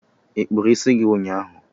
Ị kpụrụ isi gị ụnyahụ?